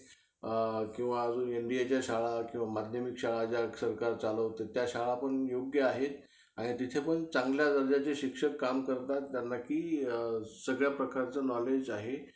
किंवा अजून एनडीएच्या शाळा किंवा माध्यमिक शाळा ज्या सरकार चालवतं त्या शाळा पण योग्य आहेत. आणि तिथे पण चांगल्या दर्जाचे शिक्षक काम करतात. त्यांना कि सगळ्या प्रकारचं knowledge आहे.